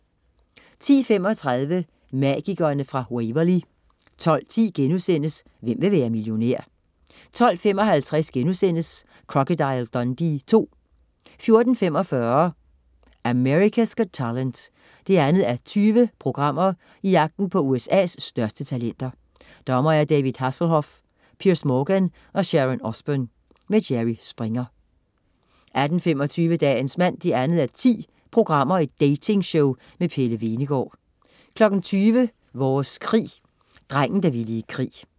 10.35 Magikerne fra Waverly 12.10 Hvem vil være millionær?* 12.55 Crocodile Dundee II* 14.45 America's Got Talent 2:20. Jagten på USA's største talenter. Dommere: David Hasselhoff, Piers Morgan og Sharon Osbourne. Jerry Springer 18.25 Dagens mand 2:10. datingshow med Pelle Hvenegaard 20.00 Vores krig: Drengen, der ville i krig